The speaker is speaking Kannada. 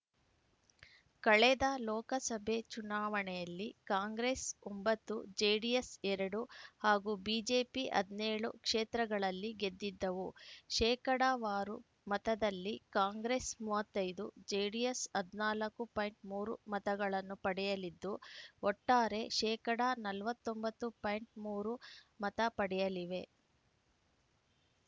ಕಳೆದ ಲೋಕಸಭೆ ಚುನಾವಣೆಯಲ್ಲಿ ಕಾಂಗ್ರೆಸ್‌ ಒಂಬತ್ತು ಜೆಡಿಎಸ್‌ ಎರಡು ಹಾಗೂ ಬಿಜೆಪಿ ಹದಿನೇಳು ಕ್ಷೇತ್ರಗಳಲ್ಲಿ ಗೆದ್ದಿದ್ದವು ಶೇಕಡಾವಾರು ಮತದಲ್ಲಿ ಕಾಂಗ್ರೆಸ್‌ ಮೂವತ್ತ್ ಐದು ಜೆಡಿಎಸ್‌ ಹದ್ ನಾಲ್ಕು ಮೂರು ಮತಗಳನ್ನು ಪಡೆಯಲಿದ್ದು ಒಟ್ಟಾರೆ ಶೇಕಡಾ ನಲವತ್ತ್ ಒಂಬತ್ತು ಪಾಯಿಂಟ್ ಮೂರು ಮತ ಪಡೆಯಲಿವೆ